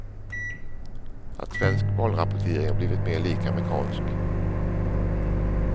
Att svensk valrapportering blivit mer lik amerikansk.